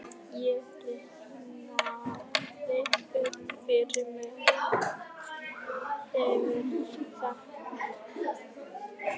Ég rifjaði upp fyrir mér árin sem ég hafði þekkt